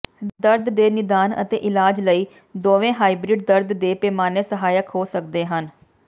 ਦਰਦ ਦੇ ਨਿਦਾਨ ਅਤੇ ਇਲਾਜ ਲਈ ਦੋਵੇਂ ਹਾਈਬਰਿਡ ਦਰਦ ਦੇ ਪੈਮਾਨੇ ਸਹਾਇਕ ਹੋ ਸਕਦੇ ਹਨ